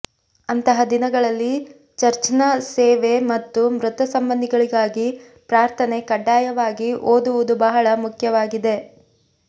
ಅಂತಹ ದಿನಗಳಲ್ಲಿ ಚರ್ಚ್ನ ಸೇವೆ ಮತ್ತು ಮೃತ ಸಂಬಂಧಿಗಳಿಗಾಗಿ ಪ್ರಾರ್ಥನೆ ಕಡ್ಡಾಯವಾಗಿ ಓದುವುದು ಬಹಳ ಮುಖ್ಯವಾಗಿದೆ